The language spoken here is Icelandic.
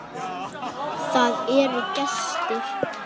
Það eru gestir.